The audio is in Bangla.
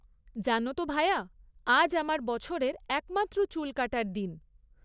জানো তো ভায়া, আজ আমার বছরের একমাত্র চুল কাটার দিন।